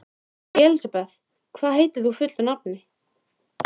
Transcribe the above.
Elisabeth, hvað heitir þú fullu nafni?